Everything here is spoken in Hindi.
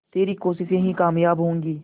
तेरी कोशिशें ही कामयाब होंगी